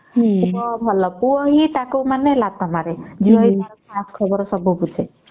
ପୁଅ ହିଁ ତାକୁ ଲାତ ମାରେ ଝିଅ ଘର ସବୁ ଖଵର ସେ ବୁଝେ